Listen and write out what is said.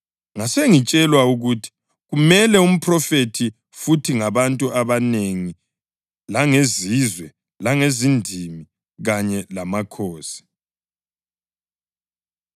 Ngasengitshelwa ukuthi, “Kumele uphrofithe futhi ngabantu abanengi, langezizwe, langezindimi kanye langamakhosi.”